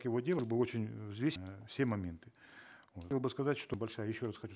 его делал бы очень э взвесить все моменты бы сказать что большая еще раз хочу